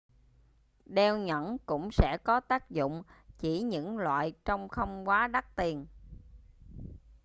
đeo nhẫn cũng sẽ có tác dụng chỉ những loại trông không quá đắt tiền